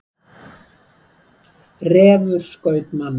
Refur skaut mann